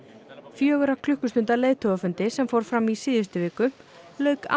fjögurra klukkustunda leiðtogafundi sem fór fram í síðustu viku lauk án